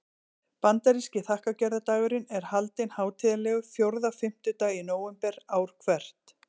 Bandaríski þakkargjörðardagurinn er haldinn hátíðlegur fjórða fimmtudag í nóvember ár hvert.